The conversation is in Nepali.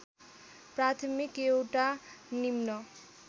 प्राथमिक एउटा निम्न